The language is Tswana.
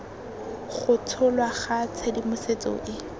go tsholwa ga tshedimosetso e